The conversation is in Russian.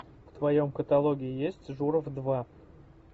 в твоем каталоге есть журов два